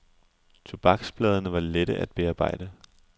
Tobaksbladene var lette at bearbejde.